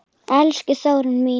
Elsku Þórunn mín.